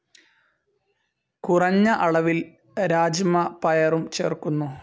കുറഞ്ഞ അളവിൽ രാജ്മ പയറും ചേർക്കുന്നു.